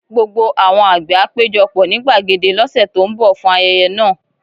Gbogbo àwọn àgbẹ̀ á péjọ pọ̀ ní gbàgede lọ́sẹ̀ tó ń bọ̀ fún ayẹyẹ náà